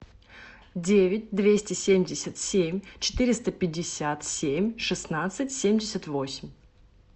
девять двести семьдесят семь четыреста пятьдесят семь шестнадцать семьдесят восемь